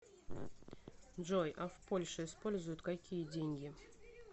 джой а в польше используют какие деньги